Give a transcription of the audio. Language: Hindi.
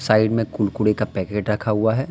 साइड में कुरकुरे का पैकेट रखा हुआ है।